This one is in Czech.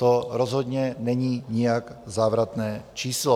To rozhodně není nijak závratné číslo.